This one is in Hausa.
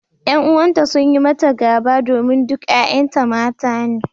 Yan uwanta sun yi mata gaba domin duk 'ya'yanta mata ne